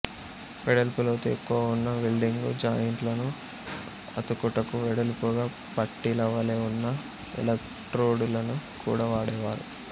వెడల్పు లోతు ఎక్కువ ఉన్న వెల్డింగుజాయింట్లను అతుకుటకు వెడల్పుగా పట్టీలవలె ఉన్న ఎలక్ట్రోడులను కూడా వాడెదరు